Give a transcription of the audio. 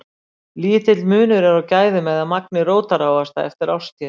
Lítill munur er á gæðum eða magni rótarávaxtanna eftir árstíðum.